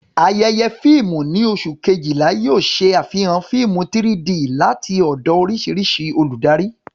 Ayẹyẹ fíìmù ní oṣù Kejìlá yóò ṣe àfihàn fíìmù 3-D láti ọ̀dọ̀ oríṣiríṣi olùdarí.